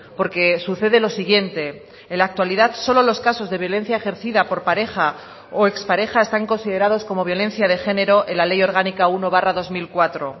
porque sucede lo siguiente en la actualidad solo los casos de violencia ejercida por pareja o expareja están considerados como violencia de género en la ley orgánica uno barra dos mil cuatro